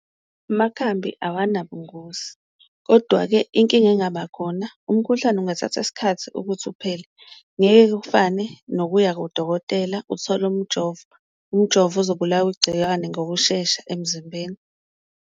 Amakhambi awanabungozi kodwa-ke inkinga engaba khona umkhuhlane ungathatha isikhathi ukuthi uphele, ngeke kufane nokuya kudokotela uthole umjovo, umjovo uzobulawa igciwane ngokushesha emzimbeni.